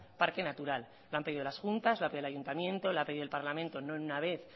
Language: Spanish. parque natural lo han pedido las juntas lo ha pedido el ayuntamiento lo ha pedido el parlamento no una vez